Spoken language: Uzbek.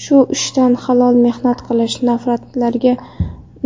Shu ishdan halol mehnat qilish,